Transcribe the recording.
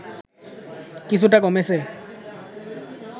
কিছুটা কমেছে